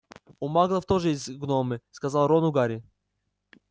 у маглов тоже есть гномы сказал рону гарри